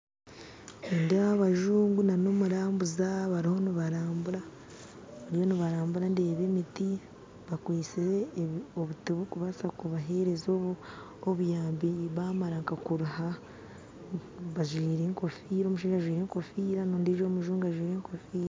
Nindeeba abajungu nana omurambuza bariho nibarambura bariho nibarambura ndeeba emiti bakwise obuti burikubaasa kubahereza obuyambi bamara nkakuruha bajwire enkofira omushaija ajwire engofira n'ondiijo omujungu ajwire enkofira.